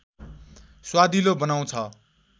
स्वादिलो बनाउँछ